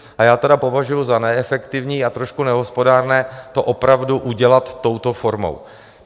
A já tedy považuji za neefektivní a trošku nehospodárné to opravdu udělat touto formou.